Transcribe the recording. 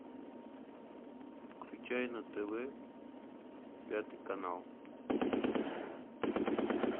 включай на тв пятый канал